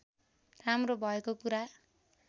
राम्रो भएको कुरा